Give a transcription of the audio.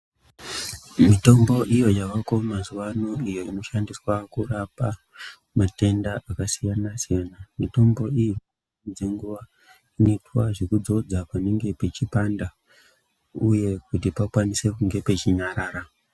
Mitombo iyo yavako mazuva ano iyo inoshandiswa kurapa matenda akasiyana-siyana. Mitombo iyi dzenguva inoitwa zvekudzodza panenge pachipanda, uye kuti pakwanise kunge pachinyarara.